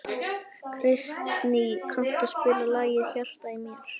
Kristný, kanntu að spila lagið „Í hjarta mér“?